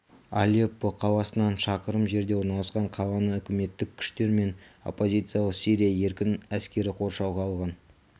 алеппо қаласынан шақырым жерде орналасқан қаланы үкіметтік күштер мен оппозициялық сирия еркін әскері қоршауға алған